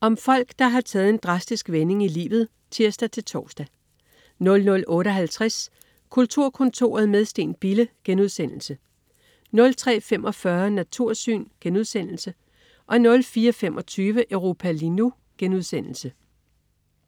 Om folk, der har taget en drastisk vending i livet (tirs-tors) 00.58 Kulturkontoret med Steen Bille* 03.45 Natursyn* 04.25 Europa lige nu*